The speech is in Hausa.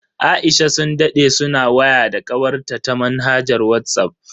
Aisha sun dade suna waya da kawarta ta manhajar Whatsapp.